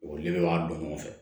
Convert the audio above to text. O li b'a don ɲɔgɔn fɛ